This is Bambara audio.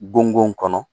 Bon kɔnɔ